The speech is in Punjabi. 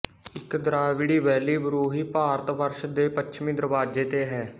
ਇਕ ਦ੍ਰਾਵਿੜੀ ਬੈਲੀ ਬਰੂਹੀ ਭਾਰਤ ਵਰਸ਼ ਦੈ ਪੱਛਮੀਂ ਦਰਵਾਜ਼ੇ ਤੇ ਹੈ